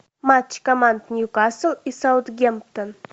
матч команд ньюкасл и саутгемптон